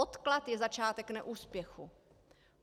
Odklad je začátek neúspěchu.